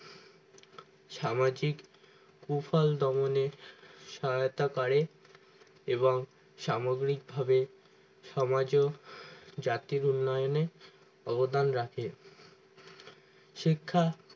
সামাজিক কুফল দমনের সহায়তা করে এবং সাময়িক ভাবে সমাজও জাতির উন্নয়নে অবদান রাখে শিক্ষা